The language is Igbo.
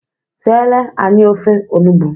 Siere anyị ofe onugbu!